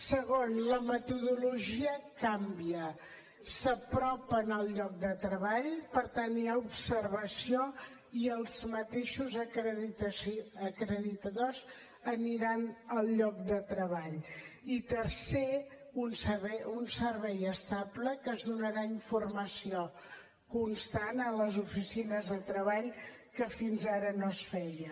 segon la metodologia canvia s’apropen al lloc de treball per tenir observació i els mateixos acreditadors aniran al lloc de treball i tercer un servei estable que es donarà informació constant a les oficines de treball que fins ara no es feia